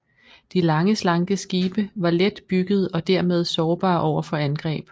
De lange slanke skibe var let byggede og dermed sårbare over for angreb